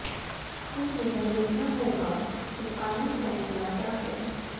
अब यह देखना होगा कि फाइनल फैसला क्या है